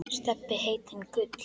Stebbi heitinn Gull.